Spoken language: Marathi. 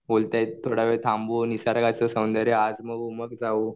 म्हणतायेत थोडे दिवस थांबू निसर्गाचा आनंद आजमावू मग जाऊ.